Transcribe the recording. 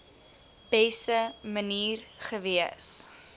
beste manier gewees